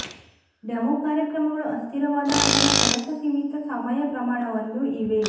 demo ಕಾರ್ಯಕ್ರಮಗಳು ಅಸ್ಥಿರವಾದ ಅಥವಾ ಕೆಲಸ ಸೀಮಿತ ಸಮಯ ಪ್ರಮಾಣವನ್ನು ಇವೆ